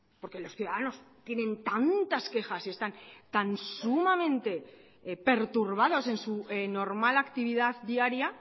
porque los ciudadanos tienen tantas quejas y están tan sumamente perturbados en su normal actividad diaria